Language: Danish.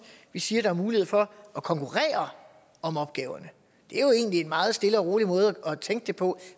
vi siger at der er mulighed for at konkurrere om opgaverne det er jo egentlig en meget stille og rolig måde at tænke det på